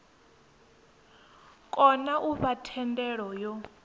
kona u fha thendelo yo